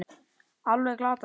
Alveg glatað, segir hún.